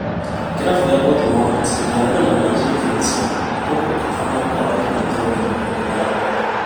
Kĩrabu kĩa Portimonense gĩkang’etherana na Gil Vicente gũkũ Famalicao ĩkĩnyita ũgeni Vinara Porto